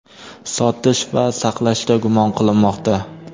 sotish va saqlashda gumon qilinmoqda.